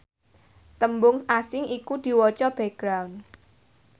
tembung asing iku diwaca background